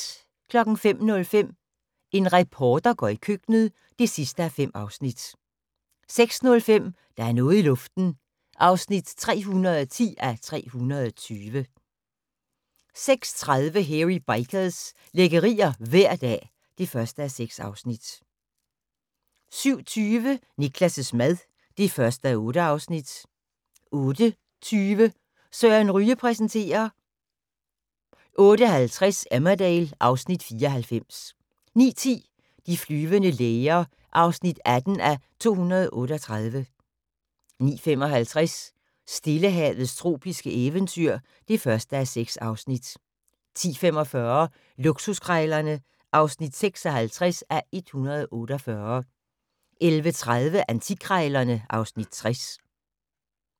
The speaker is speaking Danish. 05:05: En reporter går i køkkenet (5:5) 06:05: Der er noget i luften (310:320)* 06:30: Hairy Bikers – lækkerier hver dag (1:6) 07:20: Niklas' mad (1:8) 08:20: Søren Ryge præsenterer 08:50: Emmerdale (Afs. 94) 09:10: De flyvende læger (18:238) 09:55: Stillehavets tropiske eventyr (1:6) 10:45: Luksuskrejlerne (56:148) 11:30: Antikkrejlerne (Afs. 60)